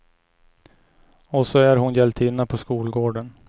Och så är hon hjältinna på skolgården.